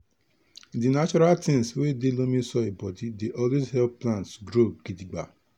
di natural tins wey dey loamy soil bodi dey always help plants grow gidigba.